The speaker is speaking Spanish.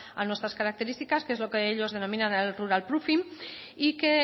a nuestras características que es lo que ellos denominan el rural proofing y que